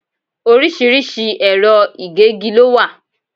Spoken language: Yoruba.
Orísìírísìí ẹ̀rọ ìgégi lo wà